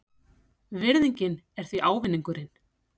Virðingin er því ávinningurinn.